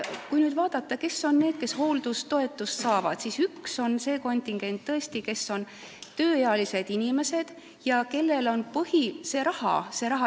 Kui vaadata, kes on need, kes hooldajatoetust saavad, siis üks kontingent on tõesti tööealised inimesed, kellele on põhiline see rahaline pool.